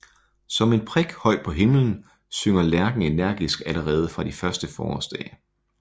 Som en prik højt på himlen synger lærken energisk allerede fra de første forårsdage